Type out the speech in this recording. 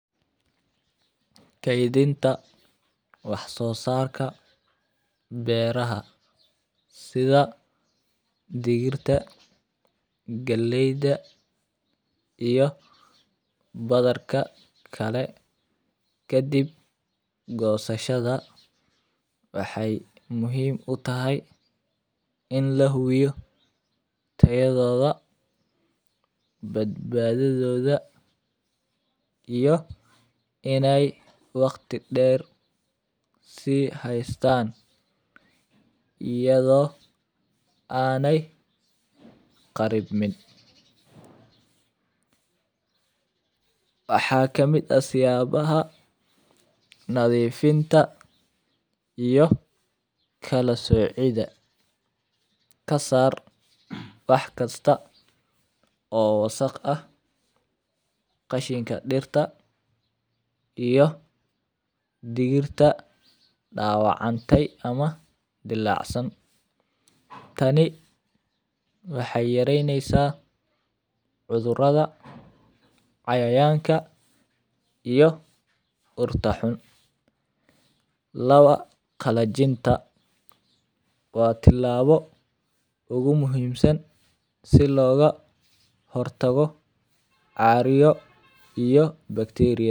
Kedhinta wax sosarka beeraha sitha digirta galeyda iyo badarka kale kadiib gosashaada waxee muhiim utahay in lahubiyo tayadhoda bad badadhoda iyo in ee waqti deer ee hastan iyo ena qarinin, waxaa kamiid ah siyabaha nadhifinta iyo kala socidha kasar wax kista oo wasaq ah qashinka dirta iyo digirta dawacmate iyo dilacsan tani waxee yareynesa cudhuraada cayayanka iyo dirta xun lawa qalanjinta waa tilabo muhiim ah si lo hortago caryo iyo bacteria yada.